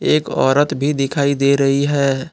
एक औरत भी दिखाई दे रही है।